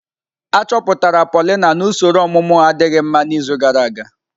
Achọpụtara Paulina na usoro ọmụmụ adịghị mma n'izu gara aga.